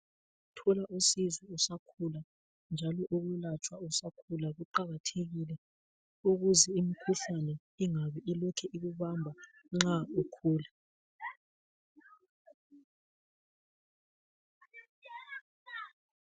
Ukuthola usizo usakhula njalo ukwelatshwa usakhula kuqakathekile ukuze imikhuhlane ingabe ilokhe ikubamba nxa ukhula.